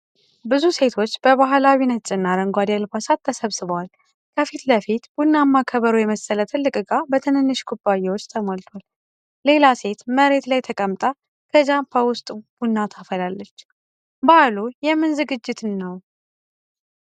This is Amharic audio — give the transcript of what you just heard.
ብዙ ሴቶች በባህላዊ ነጭና አረንጓዴ አልባሳት ተሰባስበዋል። ከፊት ለፊት ቡናማ ከበሮ የመሰለ ትልቅ እቃ በትንንሽ ኩባያዎች ተሞልቷል። ሌላ ሴት መሬት ላይ ተቀምጣ ከጃፓ ውስጥ ቡና ታፈሳለች። በዓሉ የምን ዝግጅት ነውን?